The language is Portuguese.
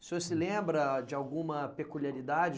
O senhor se lembra de alguma peculiaridade?